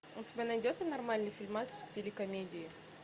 у тебя найдется нормальный фильмас в стиле комедии